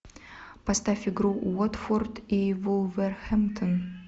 поставь игру уотфорд и вулверхэмптон